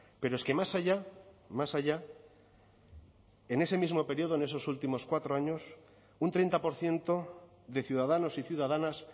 pero es que más allá más allá en ese mismo período en esos últimos cuatro años un treinta por ciento de ciudadanos y ciudadanas